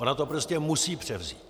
Ona to prostě musí převzít.